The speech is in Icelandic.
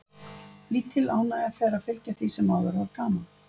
Lítil ánægja fer að fylgja því sem áður var gaman.